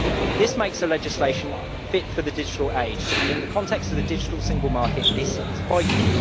This makes the legislation fit for the digital age and, in the context of the digital single market, that is vital.